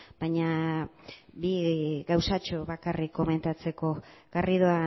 baina bi gauzatxo bakarrik komentatzeko garrido